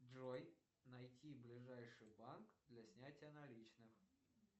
джой найти ближайший банк для снятия наличных